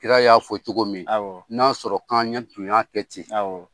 Kira y'a fɔ cogo min n'a sɔrɔ k'an tun kɛ ten